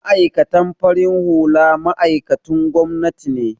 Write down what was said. Ma'aikatan farin hula ma'aikatun gwamnati ne